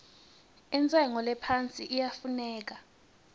intshengo lephasi iyafuneka